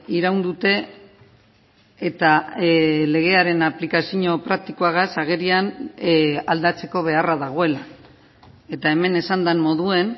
iraun dute eta legearen aplikazio praktikoagaz agerian aldatzeko beharra dagoela eta hemen esan den moduan